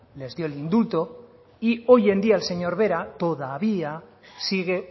les dio el indulto y hoy en día el señor vera todavía sigue